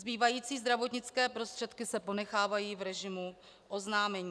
Zbývající zdravotnické prostředky se ponechávají v režimu oznámení.